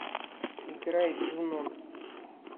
играй джунун